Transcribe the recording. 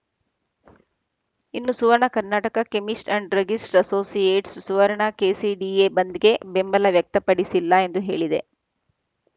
ಇನ್ನು Suvarna Karnataka chemist and druggist associate Suvarna KCDA ಬಂದ್‌ಗೆ ಬೆಂಬಲ ವ್ಯಕ್ತಪಡಿಸಿಲ್ಲ ಎಂದು ಹೇಳಿದೆ